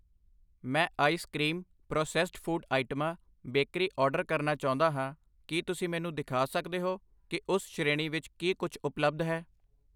ਮੈਂ ice cream, processed food ਆਈਟਮਾਂ, bakery order ਕਰਨਾ ਚਾਹੁੰਦਾ ਹਾਂ, ਕੀ ਤੁਸੀਂ ਮੈਨੂੰ ਦਿਖਾ ਸਕਦੇ ਹੋ ਕਿ ਉਸ ਸ਼੍ਰੇਣੀ ਵਿੱਚ ਕੀ ਕੁਛ ਉਪਲੱਬਧ ਹੈ?